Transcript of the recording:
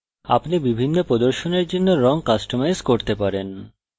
আপনি বিভিন্ন প্রদর্শনের জন্য রং কাস্টমাইজ করতে পারেন